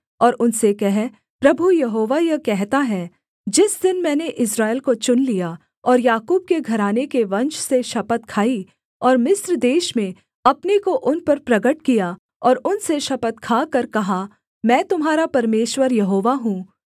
और उनसे कह प्रभु यहोवा यह कहता है जिस दिन मैंने इस्राएल को चुन लिया और याकूब के घराने के वंश से शपथ खाई और मिस्र देश में अपने को उन पर प्रगट किया और उनसे शपथ खाकर कहा मैं तुम्हारा परमेश्वर यहोवा हूँ